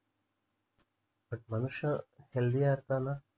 but மனுஷன் healthy ஆ இருக்கான்னா